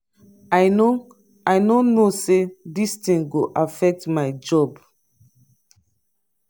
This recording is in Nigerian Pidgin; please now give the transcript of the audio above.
i no i no know say dis thing go affect my job.